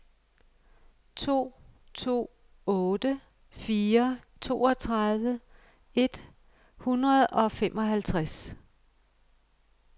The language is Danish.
to to otte fire toogtredive et hundrede og femoghalvtreds